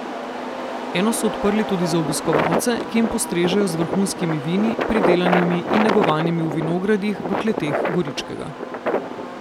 Eno so odprli tudi za obiskovalce, ki jim postrežejo z vrhunskimi vini, pridelanimi in negovanimi v vinogradih in kleteh Goričkega.